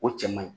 O cɛ man ɲi